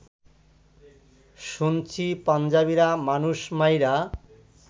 শুনছি পাঞ্জাবিরা মানুষ মাইরা